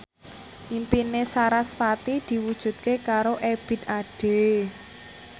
impine sarasvati diwujudke karo Ebith Ade